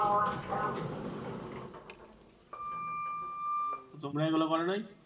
তো তোমরা এগুলো করো নাই?